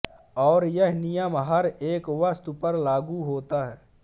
और यह नियम हर एक वस्तु पर लागु होता है